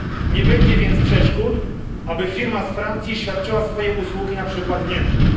Nie będzie więc przeszkód, aby firma z Francji świadczyła swoje usługi na przykład w Niemczech.